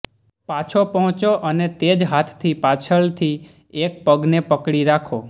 પાછો પહોંચો અને તે જ હાથથી પાછળથી એક પગને પકડી રાખો